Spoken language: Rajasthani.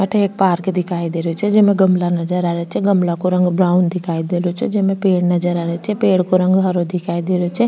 अठे एक पार्क दिखाई दे रहियो छे जेमे गमला नजर आ रिया छे गमला को रंग ब्राउन दिखाई दे रहियो छे जेमे पेड़ नजर आ रिया छे पेड़ को रंग हरो दिखाई दे रहियो छे।